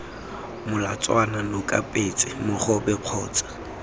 molatswana noka petse mogobe kgotsa